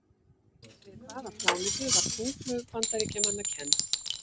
Við hvaða plánetu var tunglflaug Bandaríkjamanna kennd?